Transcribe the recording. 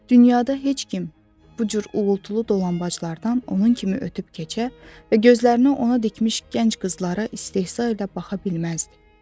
Dünyada heç kim bu cür uğultulu dolanbaclardan onun kimi ötüb keçə və gözlərini ona dikmiş gənc qızlara istehza ilə baxa bilməzdi.